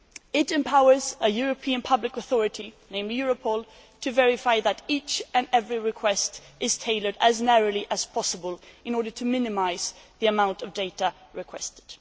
It empowers a European public authority, namely Europol, to verify that each and every request is tailored as narrowly as possible in order to minimise the amount of data requested.